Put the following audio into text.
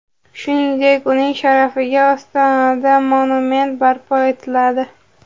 Shuningdek, uning sharafiga Ostonada monument barpo etiladi.